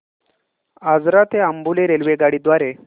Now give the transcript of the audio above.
आजरा ते अंबोली रेल्वेगाडी द्वारे